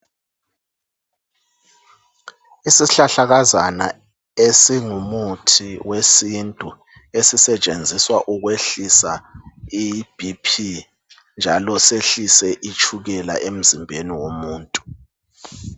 Isihlahlakazana esingumuthi wesintu esisetshenziswa ukwehlisa iBP njalo sehlise itshukela emzimbeni womuntu